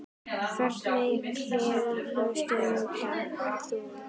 Hvernig klifur stundar þú?